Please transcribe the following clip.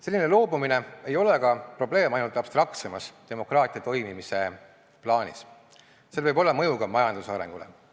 Selline loobumine ei ole aga probleem ainult abstraktsemas demokraatia toimimise plaanis, sel võib olla mõju ka majanduse arengule.